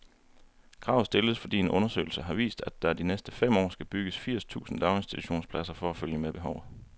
Kravet stilles, fordi en undersøgelse har vist, at der de næste fem år skal bygges firs tusind daginstitutionspladser for at følge med behovet.